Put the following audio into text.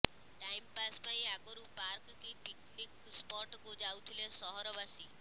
time pass ପାଇଁ ଆଗରୁ park କି ପିକ୍ନିକ୍ ସ୍ପଟ୍ କୁ ଯାଉଥିଲେ ସହରବାସୀ